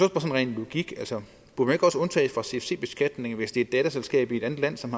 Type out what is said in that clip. rent logisk undtages fra cfc beskatning hvis det er et datterselskab i et andet land som